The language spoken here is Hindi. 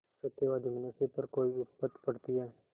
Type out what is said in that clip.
सत्यवादी मनुष्य पर कोई विपत्त पड़ती हैं